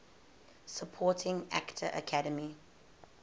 supporting actor academy